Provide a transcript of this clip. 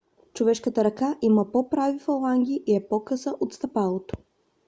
човешката ръка има по-прави фаланги и е по-къса от стъпалото